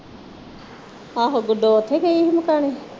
ਆਹੋ ਗੁੱਡੋ ਉੱਥੇ ਗਈ ਸੀ ਮਕਾਣੇ